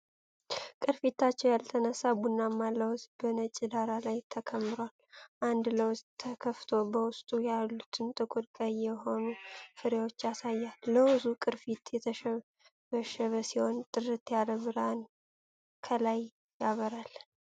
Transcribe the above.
ቅርፊታቸው ያልተነሳ ቡናማ ለውዝ በነጭ ዳራ ላይ ተከምሯል። አንድ ለውዝ ተከፍቶ በውስጡ ያሉትን ጥቁር ቀይ የሆኑ ፍሬዎች ያሳያል። የለውዙ ቅርፊት የተሸበሸበ ሲሆን፣ ጥርት ያለ ብርሃን ከላይ ያበራል።